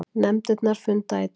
Nefndirnar funda í dag